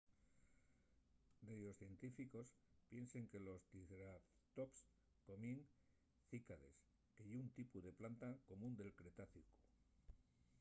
dellos científicos piensen que los triceratops comíen cícades que ye un tipu de planta común del cretácicu